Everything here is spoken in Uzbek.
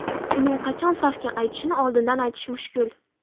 Uning qachon safga qaytishini oldindan aytish mushkul.